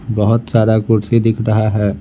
बहुत सारा कुर्सी दिख रहा है।